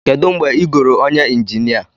Kedu mgbe ị goro onye injinia?